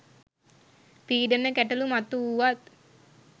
පීඩන ගැටලූ මතු වුවත්